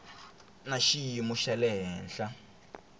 na xiyimo xa le henhla